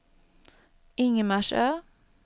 Ingmarsö